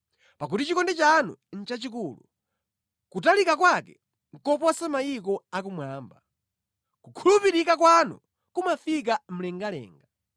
Pakuti chikondi chanu nʼchachikulu, kutalika kwake kuposa kumwamba; kukhulupirika kwanu kumafika mlengalenga.